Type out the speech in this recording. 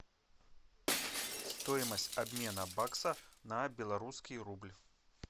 стоимость обмена бакса на белорусский рубль